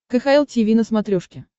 кхл тиви на смотрешке